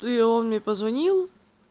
ну и он мне позвонил